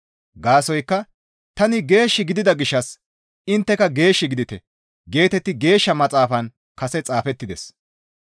Gaasoykka, «Tani geesh gidida gishshas intteka geesh gidite» geetetti Geeshsha Maxaafan kase xaafettides.